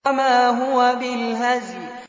وَمَا هُوَ بِالْهَزْلِ